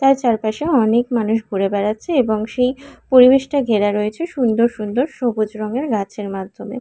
তার চারপাশে অনেক মানুষ ঘুরে বেড়াচ্ছে এবং সেই পরিবেশটা ঘেরা রয়েছে সুন্দর সুন্দর সবুজ রঙের গাছের মাধ্যমে।